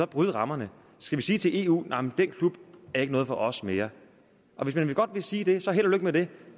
bryde rammerne skal vi sige til eu nej den klub er ikke noget for os mere hvis man godt vil sige det så held og lykke med det